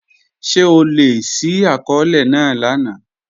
Ṣe o le ṣi akọọlẹ naa lana?